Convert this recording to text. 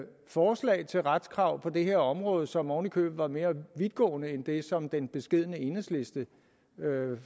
forslag til retskrav på det her område som ovenikøbet var mere vidtgående end det som den beskedne enhedslisten